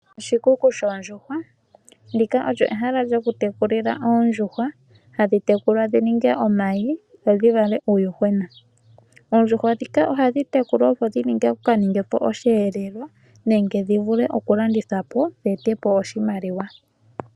Oshikuku shoondjuhwa, ndika olyo ehala lyoku tekulila oondjuhwa hadhi tekulwa dhi ninge omayi dho dhi vale iiyuhwena. Oondjuhwa dhika ohadhi tekulwa opo dhi ka ninge po oshiyelelwa nenge dhi vule oku landithwa po dhi ete po oshimaliwa.